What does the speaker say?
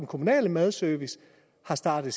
kommunale madservice har startet